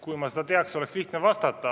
Kui ma seda teaksin, oleks lihtne vastata.